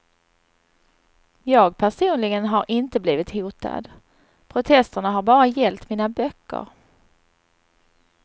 Jag personligen har inte blivit hotad, protesterna har bara gällt mina böcker.